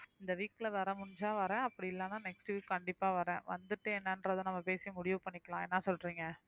இந்த week ல வர முடிஞ்சா வரேன் அப்படி இல்லைன்னா next week கண்டிப்பா வரேன் வந்துட்டு என்னன்றதை நம்ம பேசி முடிவு பண்ணிக்கலாம் என்ன சொல்றீங்க